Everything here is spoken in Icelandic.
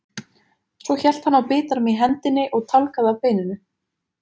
Svo hélt hann á bitanum í hendinni og tálgaði af beininu.